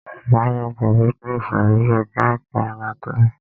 Máa lọ kàwé ni ìsòrí ẹka ẹ̀kọ́ anátómì.